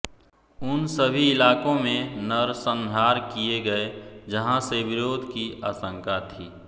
उन सभी इलाकों में नरसंहार किये गये जहां से विरोध की आशंका थी